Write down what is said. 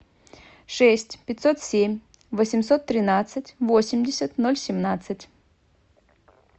шесть пятьсот семь восемьсот тринадцать восемьдесят ноль семнадцать